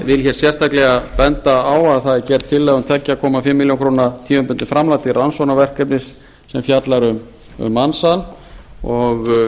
vil sérstaklega benda á að það er gerð tillaga um tvö og hálfa milljón króna tímabundið framlag til rannsóknaverkefnis sem fjallar um mansal og